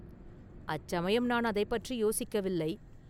“அச்சமயம் நான் அதைப் பற்றி யோசிக்கவில்லை.